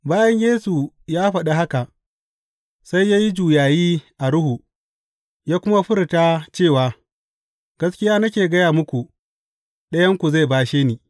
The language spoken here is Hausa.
Bayan Yesu ya faɗi haka, sai ya yi juyayi a ruhu, ya kuma furta cewa, Gaskiya nake gaya muku, ɗayanku zai bashe ni.